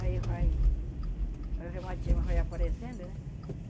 Aí vai, o reumatismo vai aparecendo, né?